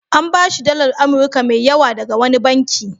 An ba shi dalar Amurka mai yawa daga wani banki.